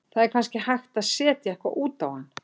Það er kannski hægt að setja eitthvað út á hann.